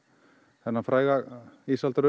þennan fræga